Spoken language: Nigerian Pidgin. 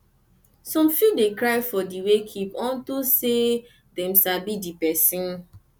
som fit dey cry for di wakekeep on to sey dem sabi di pesin